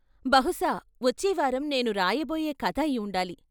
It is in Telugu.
బహుశా వచ్చేవారం నేను రాయబోయే కథ అయి ఉండాలి.